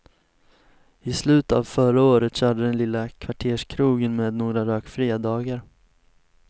I slutet av förra året körde den lilla kvarterskrogen med några rökfria dagar.